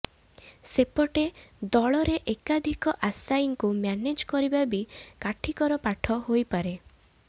ସେପଟେ ଦଳରେ ଏକାଧିକ ଆଶାୟୀଙ୍କୁ ମ୍ୟାନେଜ୍ କରିବା ବି କାଠିକର ପାଠ ହୋଇପାରେ